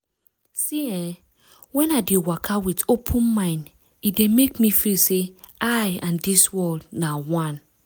see eh wen i dey waka with open mind e dey make me feel say i and dis world na one.